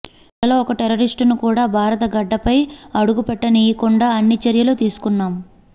వాళ్లలో ఒక్క టెర్రరిస్టును కూడా భారత గడ్డపై అడుగుపెట్టనీయకుండా అన్ని చర్యలు తీసుకున్నాం